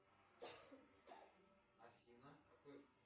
афина какой